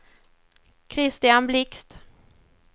Kristian Blixt